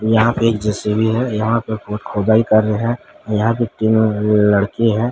यहां पे एक जे_सी_बी है यहां पे बहुत खोदाई कर रहे हैं यहां पे तीनों लड़के हैं।